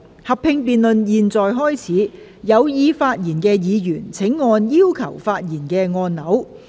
合併辯論現在開始，有意發言的議員請按"要求發言"按鈕。